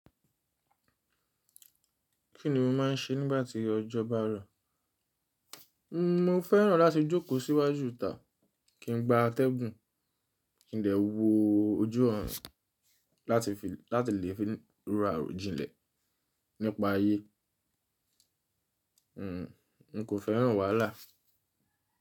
Kí ni mo máa ń ṣe nígbà tí ọjọ́ bá rọ̀? Mo fẹ́ràn láti jókòó síwájú ìta, kí n gba atẹ́gùn, kí n dè wo ojú ọ̀run láti lè fi rọ aro jilẹ̀ nípa ayé. N kò fẹ́ràn wàhálà.